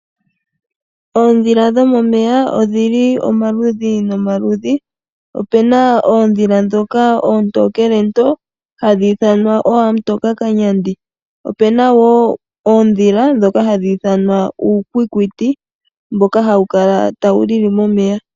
Oondhila dhomomeya odhi li omaludhi nomaludhi. Ope na oondhila ndhoka oontookele too, hadhi ithanwa ooamutokakanyandi. Opu na wo oondhila ndhoka hadhi ithanwa uukwikwiti mboka hawu kala tawu lili momeya.